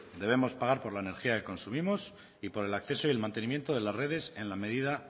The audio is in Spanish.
debemos pagar por la energía que consumimos y por el acceso y el mantenimiento de las redes en la medida